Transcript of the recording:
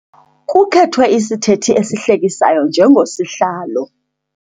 Kukhethwe isithethi esihlekisayo njengosihlalo.